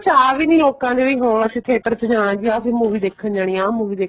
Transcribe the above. ਚਾਅ ਵੀ ਨੀ ਲੋਕਾਂ ਚ ਵੀ ਹਾਂ ਅਸੀਂ theater ਚ ਜਾਣਾ movie ਦੇਖਣ ਜਾਣੀ ਆ ਆਹ movie ਦੇਖਣ ਜਾਣਾ